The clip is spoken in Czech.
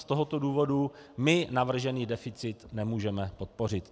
Z tohoto důvodu my navržený deficit nemůžeme podpořit.